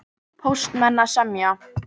Póstmenn að semja